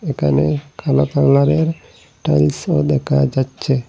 এখানে কালো কালারের টাইলসও দেখা যাচ্ছে।